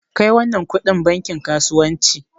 Kai wannan kudin bankin kasuwanci!